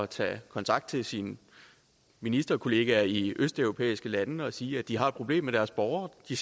tage kontakt til sine ministerkolleger i østeuropæiske lande og sige at de har et problem med deres borgere de